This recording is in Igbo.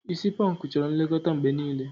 Isi pọnkụ chọrọ nlekọta mgbe niile.